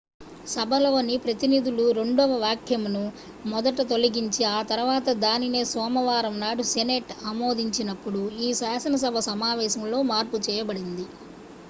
సభలోని ప్రతినిధుల రెండవ వాక్యంను మొదట తొలగించి ఆ తర్వాత దానినే సోమవారం నాడు సెనేట్ ఆమోదించిన్నప్పుడు ఈ శాసనసభ సమావేశంలో మార్పు చేయబడింది